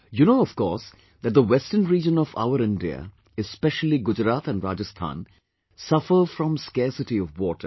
You know, of course, that the western region of our India, especially Gujarat and Rajasthan, suffer from scarcity of water